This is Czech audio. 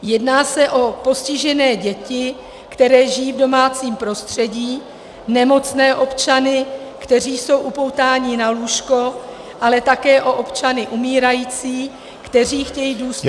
Jedná se o postižené děti, které žijí v domácím prostředí, nemocné občany, kteří jsou upoutáni na lůžko, ale také o občany umírající, kteří chtějí důstojně -